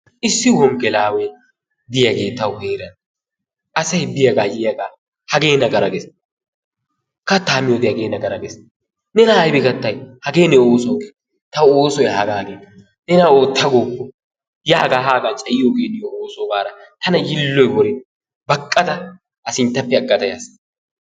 Issi wongelaawee diyagee tawu heeran asay biyagaa yiyaaga hagee nagara ges kattaa miyode hagee nagara ges nena aybi gatay hagee ne oosoy gin ta oosoy hagaa gin nena oota gooppo yaa gaa hagaa cayiyogee niyo osso gaada tana yiiloy worin baqada a sinttappe agada yaas.